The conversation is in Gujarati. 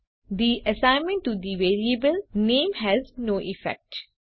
અને the assignment to the variable name has no effect